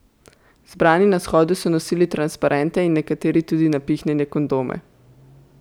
Zbrani na shodu so nosili transparente in nekateri tudi napihnjene kondome.